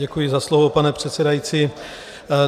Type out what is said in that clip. Děkuji za slovo, pane předsedající.